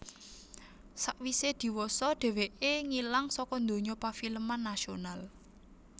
Sawisé diwasa dhèwèké ngilang saka donya pafilman nasional